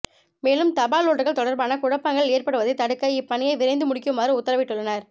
மேலும் தபால் ஓட்டுகள் தொடர்பான குழப்பங்கள் ஏற்படுவதை தடுக்க இப்பணியை விரைந்து முடிக்குமாறு உத்தரவிட்டுள்ளனர்